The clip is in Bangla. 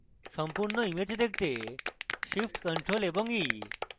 এখন আপনি জানেন যে সম্পূর্ণ image দেখতে shift + ctrl + e